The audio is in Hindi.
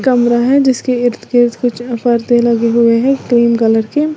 कमरा है जिसके इर्द गिर्द कुछ परदे लगे हुए हैं क्रीम कलर के।